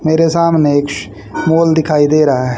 मेरे सामने एक श मौल दिखाई दे रहा है।